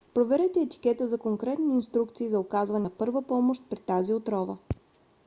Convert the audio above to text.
проверете етикета за конкретни инструкции за оказване на първа помощ при тази отрова